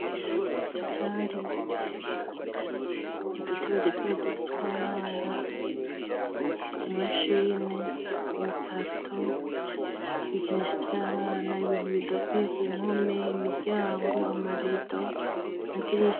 sandirimba intebe udutebe duto duto twabana i mashini ibikarto ibikinisha by'abana ibintu bidakuye ku mkome imiryango amarido amadirisha